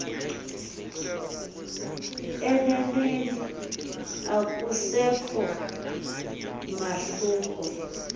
eneneni akusekho mahluko